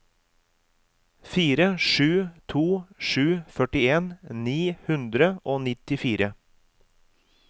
fire sju to sju førtien ni hundre og nittifire